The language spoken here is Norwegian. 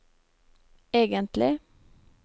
egentlig